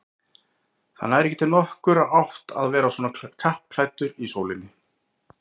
Það nær ekki nokkurri átt að vera svona kappklæddur í sólinni